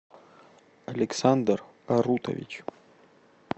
александр арутович